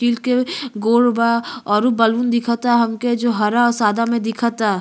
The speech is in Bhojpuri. टील के गोल बा औरु बलून दिखता हमके जो हरा और सादा में दिखता।